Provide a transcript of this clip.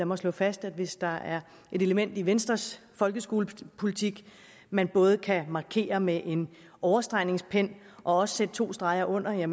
mig slå fast at hvis der er et element i venstres folkeskolepolitik man både kan markere med en overstregningspen og også sætte to streger under er